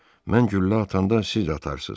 Mən güllə atanda siz də atarsız.